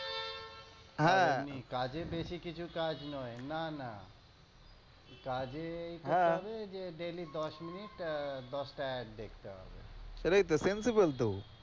হ্যাঁ এমনি কাজে বেশি কিছু দেখতে হবে কাজ নয় না না কাজে এই করতে হবে যে daily দশ minute দশটা add দেখতে হবে সেটাইতো sensible তো,